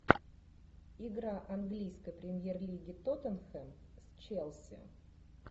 игра английской премьер лиги тоттенхэм с челси